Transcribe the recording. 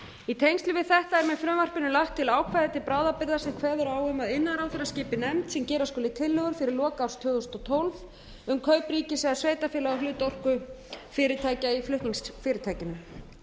í tengslum við þetta er með frumvarpinu lagt til ákvæði til bráðabirgða sem kveður á um að iðnaðarráðherra skipi nefnd sem gera skuli tillögur fyrir lok árs tvö þúsund og tólf um kaup ríkis eða sveitarfélaga á hlut orkufyrirtækja í flutningsfyrirtækinu